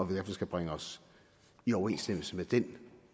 være vi skulle bringe os i overensstemmelse med den